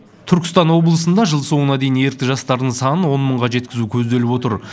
түркістан облысында жыл соңына дейін ерікті жастардың санын он мыңға жеткізу көзделіп отыр